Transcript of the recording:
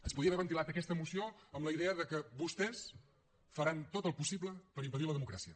es podia haver ventilat aquesta moció amb la idea de que vostès faran tot el possible per impedir la democràcia